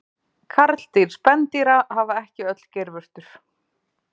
karldýr spendýra hafa ekki öll geirvörtur